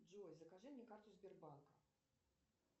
джой закажи мне карту сбербанка